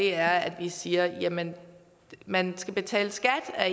er at vi siger at man man skal betale skat af